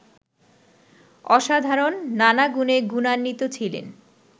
অসাধারণ নানা গুণে গুণান্বিত ছিলেন